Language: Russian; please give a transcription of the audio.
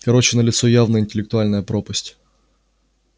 короче налицо явная интеллектуальная пропасть